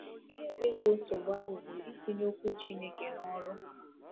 Ihe ga-egbo nsogbu ahụ bụ itinye Okwu Chineke n’ọrụ.